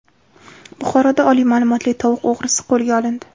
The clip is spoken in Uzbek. Buxoroda oliy ma’lumotli tovuq o‘g‘risi qo‘lga olindi.